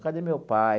Cadê meu pai?